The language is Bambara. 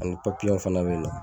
Ani fana bɛ yen nɔ